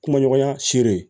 Kuma ɲɔgɔnya sere